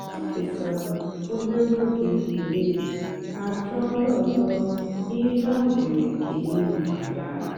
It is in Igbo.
o kèsàra òbèré ógè èkélè mà jụ́ọ́ ndí ọ́zọ́ ihe ha nwèrè èkélè maka ya.